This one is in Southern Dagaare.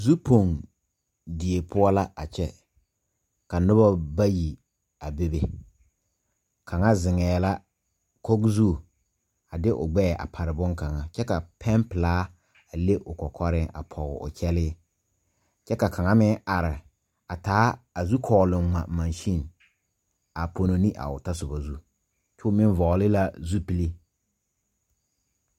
Zu pong die poɔ la a kyɛ ka nobo bayi a bebe kaŋa zeŋɛɛ la Koge zu a de o gbɛɛ a pare bonkaŋa kyɛ ka pɛnpilaa a le o kɔkɔrɛɛ a poge o kyɛlɛɛ kyɛ ka kaŋa meŋ are a taa a zukklong ngma Kansane a pono ne a o ta soba zu kyoo meŋ vɔgle la zupile.